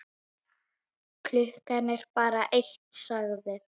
Klukkan er bara eitt, sagði